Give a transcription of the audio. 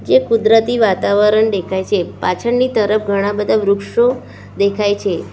એ કુદરતી વાતાવરણ દેખાય છે પાછળની તરફ ઘણા બધા વૃક્ષો દેખાય છે.